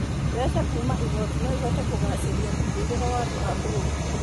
Mbeca kuuma igooti no ihote kũgacĩria mũtũũrĩre wa andũ a bũrũri.